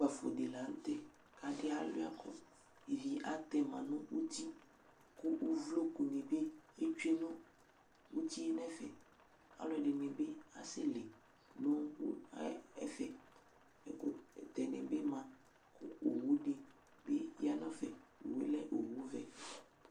Ukpafo di la n'tɛ k'adi aliuakʋ ivi atɛma nʋ uti kʋ uvlokuni bi etsue uti yɛ n'ɛfɛ Alʋɛdini bi asɛli nʋ ʋ ɛ ɛfɛ, ɛkʋtɛni bi ma kʋ owudi bi ma n'ɛfɛ Owu yɛ lɛ owu vɛ